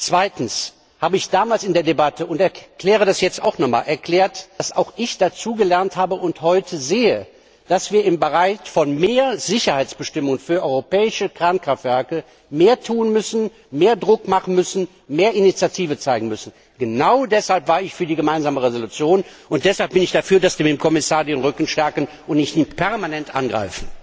Zweitens habe ich damals in der Debatte erklärt und ich erkläre das hier auch nochmals dass auch ich dazugelernt habe und heute sehe, dass wir im Bereich von höherer Sicherheitsbestimmungen für europäische Kernkraftwerke mehr tun müssen, mehr Druck machen müssen, mehr Initiative zeigen müssen. Genau deshalb war ich für die Gemeinsame Entschließung, und deshalb bin ich dafür, dass wir dem Kommissar den Rücken stärken und ihn nicht permanent angreifen!